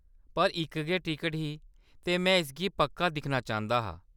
पर इक गै टिकट ही, ते में इसगी पक्का दिक्खना चांह्‌‌‌दा हा।